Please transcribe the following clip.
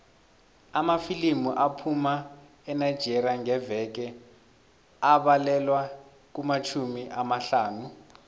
amafilimu aphuma enigeria ngeveke abalelwa kumatjhumi amahlanu